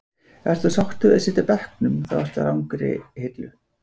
Ef þú ert sáttur við að sitja á bekknum þá ertu á rangri hillu.